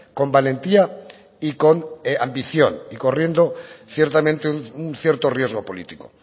con valentía y con ambición y corriendo ciertamente un cierto riesgo político